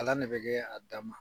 de bɛ kɛ dan ma.